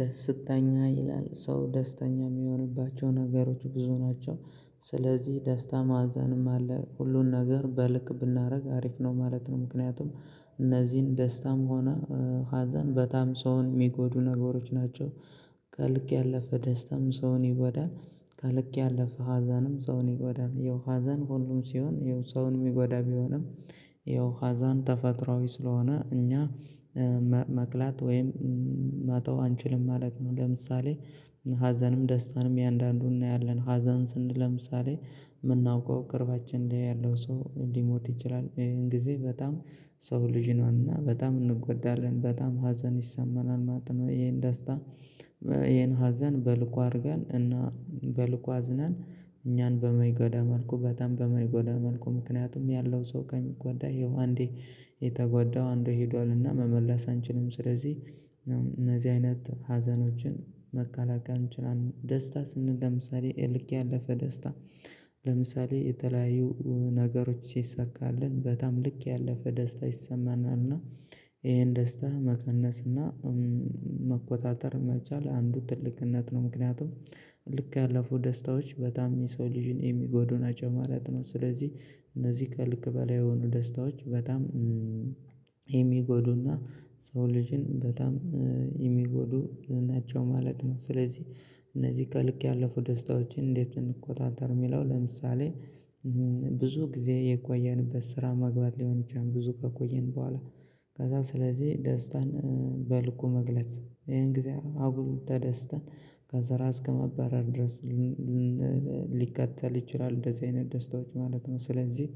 ደስተኛ ይላል ሰው ደስተኛ የሚሆንባቸው ነገሮች ብዙ ናቸው። ስለዚህ ደስታ ማዘንም አለ ሁሉን ነገር በልክ ብናርግ አሪፍ ነው ማለት ነው። ምክንያቱም እነዚህን ደስታም ሆነ ሀዘን በጣም ሰውን የሚጎዱ ነገሮች ናቸው። ከልክ ያለፈ ደስታም ሰውን ይጎዳል። ከልክ ያለፈ ሀዘንም ሰውን ይጎዳል የው ሀዘን ሁሉም ሲሆን የው ሰውን የሚጎዳ ቢሆንም የው ተፈጥሮአዊ ስለሆነ እኛ መክላት ወይም መተው አንችልም ማለት ነው። ለምሳሌ ሀዘንም ደስታንም እያንዳንዱን እናያለን ሀዘን ስንል ለምሳሌ የምናውቀው ቅርባችን ላይ ያለው ሰው ሊሞት ይችላል ይህን ጊዜ በጣም የሰው ልጅ ነንና በጣም እንጎዳለን በጣም ሀዘን ይሰማናል ማለት ነው። ይሄን ደስታ ይሄን ሀዘን በልኩ አድርገን እና በልኩ አዝነን እኛን በማይጎዳ መልኩ በጣም በማይጎዳ መልኩ ምክንያቱም ያለው ሰው ከሚጎዳ ይሄው አንዴ የተጎዳው አንዴ ሄዷልና መመለስ አንችልም ስለዚህ እነዚህ አይነት ሀዘኖችን መከላከል እንችላለን። ደስታ ስንል ለምሳሌ ከልክ ያለፈ ደስታ ለምሳሌ የተለያዩ ነገሮች ሲሳካልን በጣም ልክ ያለፈ ደስታ ይሰማናል እና ይሄን ደስታ መቀነስ እና መቆጣጠር መቻል አንዱ ትልቅነት ነው። ምክንያቱም ከልክ ያለፉ ደስታዎች በጣም የሰው ልጅን የሚጎዱና ናቸው ማለት ነው። ስለዚህ እነዚህ ከልክ በላይ የሆኑ ደስታዎች በጣም የሚጎዱና የሰው ልጅን በጣም የሚጎዱ ናቸው ማለት ነው። ስለዚህ እነዚህ ከልክ ያለፉ ደስታዎችን እንዴት እንቆጣጠር የሚለው ለምሳሌ ብዙ ጊዜ የቆየንበት ስራ መግባት ሊሆን ይችላል። ብዙ ከቆየን በኋላ ከዛ ስለዚህ ደስታን በልኩ መግለጽ ይሄን ጊዜ አጉል ተደስተን ከስራ እስከመባረር ድረስ ልን ሊከተል ይችላል እንደዚህ አይነት ደስታዎች ማለት ነው። ስለዚህ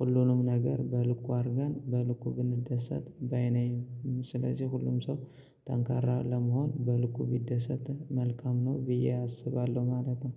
ሁሉንም ነገር በልኩ አድርገን በልኩ ብንደሰት ባይ ነኝ። ስለዚህ ሁሉም ሰው ጠንካራ ለመሆን በልኩ ቢደሰት መልካም ነው ብዬ አስባለሁ ማለት ነው።